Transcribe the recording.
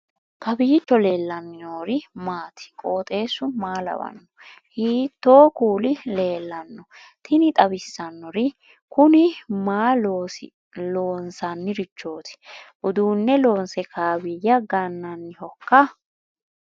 kowiicho leellannori maati ? qooxeessu maa lawaanno ? hiitoo kuuli leellanno ? tini xawissannori kuni maa loosannirichooti uduunne loonse kaawiyya gannannihoiikka